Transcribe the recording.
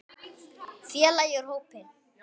Félagi úr hópi